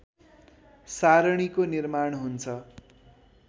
सारणीको निर्माण हुन्छ